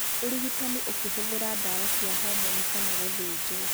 Ũrigitani ũkĩhũthĩra dawa cia homoni na gũthĩnjwo.